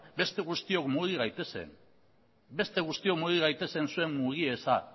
beste guztiok mugi gaitezen zuen mugi eza